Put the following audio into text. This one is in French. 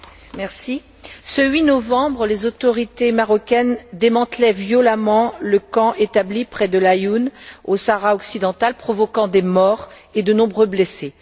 Madame la Présidente, ce 8 novembre, les autorités marocaines démantelaient violemment le camp établi près de Laâyoune, au Sahara occidental, provoquant des morts et de nombreux blessés.